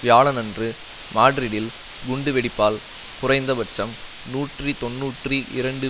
வியாழனன்று மாட்ரிட்டில் குண்டு வெடிப்பால் குறைந்த பட்சம் நூற்றி தொன்னூற்றி இரண்டு